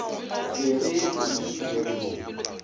be re reilwe re no